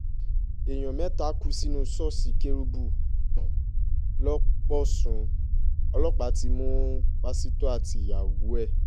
èèyàn mẹ́ta kú sínú ṣọ́ọ̀ṣì kérúbù lọ́pọ̀ṣùn ọlọ́pàá ti mú pásítọ̀ àtìyàwó ẹ̀